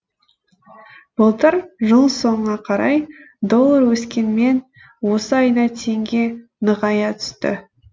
былтыр жыл соңына қарай доллар өскенмен осы айда теңге нығая түсті